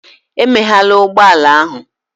Emeghela ụgbọ ala ahụ!